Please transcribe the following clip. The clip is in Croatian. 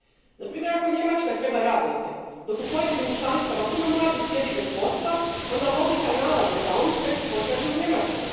Na primjer, ako Njemačka treba radnike, dok u pojedinim članicama puno mladih sjedi bez posla, onda logika nalaže da oni sreću potraže u Njemačkoj.